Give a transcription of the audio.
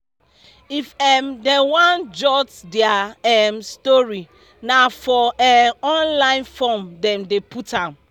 if um dem wan jot dia um story na for um online form dem dey put am